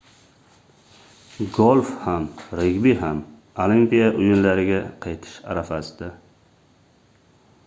golf ham regbi ham olimpiya oʻyinlariga qaytish arafasida